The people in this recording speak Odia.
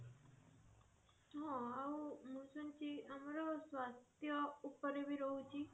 ହଁ ଆଉ ମୁ ଶୁଣିଛି ଆମର ସ୍ୱାସ୍ଥ୍ୟ ଉପରେ ବି ରହୁଛି